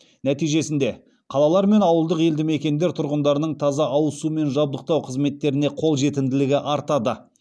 нәтижесінде қалалар мен ауылдық елді мекендер тұрғындарының таза ауыз сумен жабдықтау қызметтеріне қол жетімділігі артады